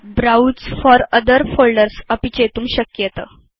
browse for other folders अपि चेतुं शक्येत